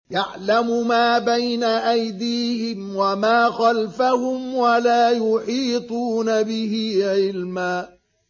يَعْلَمُ مَا بَيْنَ أَيْدِيهِمْ وَمَا خَلْفَهُمْ وَلَا يُحِيطُونَ بِهِ عِلْمًا